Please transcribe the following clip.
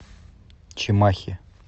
чимахи